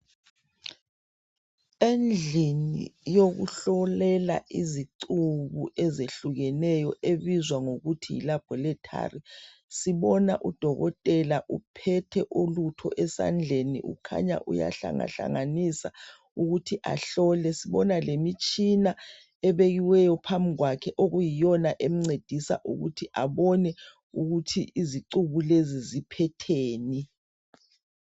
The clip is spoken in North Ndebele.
Endlini yokuhlolela izicuku ezehlukeneyo, ebizwa ngokuthi Yi laboratory. Sibona udokotela uphethe ulutho esandleni ,ukhanya uyahlangahlanganisa ukuthi ahlole .Sibona lemitshina ebekiweyo phambikwakhe okuyiyona emncedisa ukuthi abone ukuthi izicuku lezi ziphetheni.